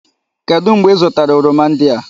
Kedụ mgbe ị zụtara oroma ndị a?